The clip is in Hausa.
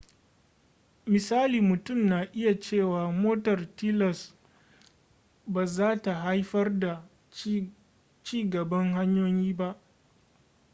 misali mutum na iya cewa motar tilas ba zata haifar da ci gaban hanyoyi ba